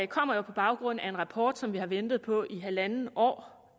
kommer på baggrund af en rapport som vi har ventet på i halvandet år